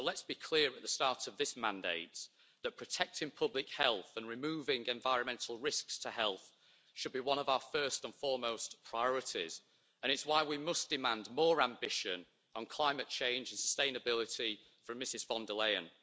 So let's be clear at the start of this mandate that protecting public health and removing environmental risks to health should be one of our first and foremost priorities and it's why we must demand more ambition on climate change and sustainability from Ms von der Leyen.